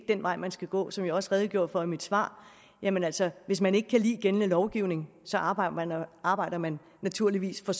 den vej man skal gå som jeg også redegjorde for i mit svar jamen altså hvis man ikke kan lide gældende lovgivning arbejder man arbejder man naturligvis for